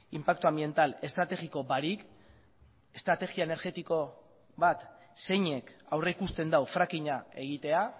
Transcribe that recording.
inpaktu anbiental estrategiko barik estrategia energetiko bat zeinek aurrikusten du frackinga egitea